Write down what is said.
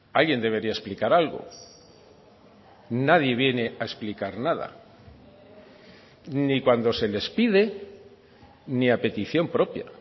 alguien debería explicar algo nadie viene a explicar nada ni cuando se les pide ni a petición propia